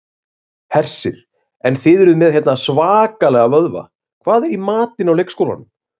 Hersir: En þið eruð með hérna svakalega vöðva, hvað er í matinn á leikskólanum?